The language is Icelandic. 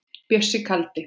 Bjössi kaldi.